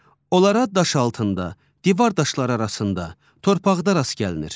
Onlara daş altında, divar daşları arasında, torpaqda rast gəlinir.